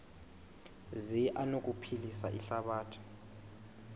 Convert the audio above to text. zi anokuphilisa ihlabathi